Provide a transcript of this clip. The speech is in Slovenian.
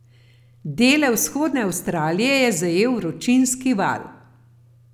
Dele vzhodne Avstralije je zajel vročinski val.